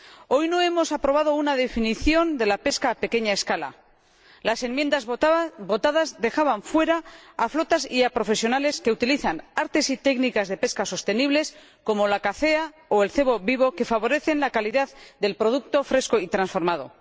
Hoy no hemos aprobado una definición de la pesca a pequeña escala. Las enmiendas votadas dejaban fuera a flotas y a profesionales que utilizan artes y técnicas de pesca sostenibles como la cacea o el cebo vivo, que favorecen la calidad del producto fresco y transformado.